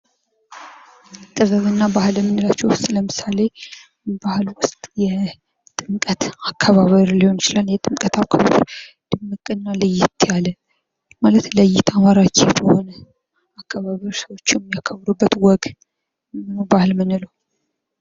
ጥበብና ባህል ከምንላቸው ውስጥ ለምሳሌ በዓል የጥምቀት በዓል አከባበር ሊሆን ይችላል። የጥምቀት አከባበር ድምቅና ለየት ያለ ማለት ለየት ያለ የሚያከብሩበት ወግ ነው ባህል የምንለው።